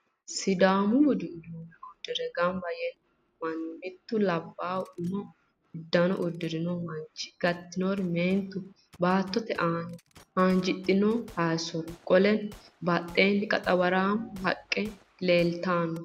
Sidaamu budu uduunne uddire gamba yee noo manni, mittu laabaay umu uddano uddirino manchi gatinori meentunna baattote aana haanjidhino haayisso. Qoleno badheenni qaxawaraamma haqqe leeltanno.